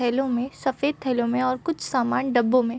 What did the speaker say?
थैलो में सफेद थैलों में और कुछ सामान डब्बो मे --